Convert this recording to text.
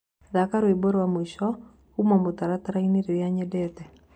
Thaka rwĩmbo rwa mwĩsho kũũma mũtarataraĩnĩ rũrĩa nyendete